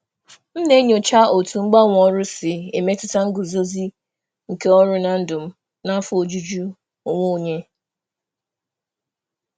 M na-enyocha otú mgbanwe ọrụ si emetụta nguzozi nke ọrụ na ndụ m na afọ ojuju onwe onye.